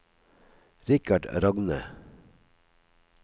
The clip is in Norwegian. Richard Rogne